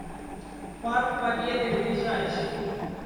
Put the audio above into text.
парк победы ближайший